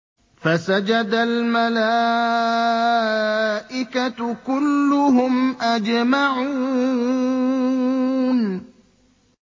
فَسَجَدَ الْمَلَائِكَةُ كُلُّهُمْ أَجْمَعُونَ